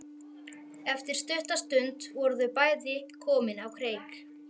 Eftir stutta stund voru þau bæði komin á kreik.